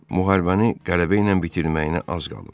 Müharibəni qələbə ilə bitirməyinə az qalıb.